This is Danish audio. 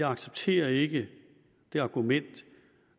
accepterer jeg ikke det argument